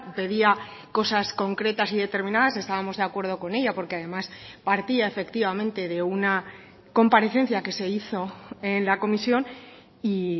pedía cosas concretas y determinadas estábamos de acuerdo con ella porque además partía efectivamente de una comparecencia que se hizo en la comisión y